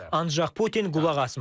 Ancaq Putin qulaq asmır.